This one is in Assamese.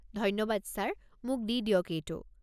ধন্যবাদ ছাৰ, মোক দি দিয়ক এইটো।